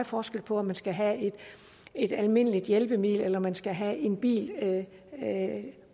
forskel på om man skal have et almindeligt hjælpemiddel eller om man skal have en bil